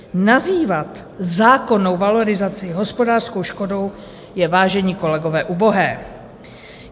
Nazývat zákonnou valorizaci hospodářskou škodou je, vážení kolegové, ubohé.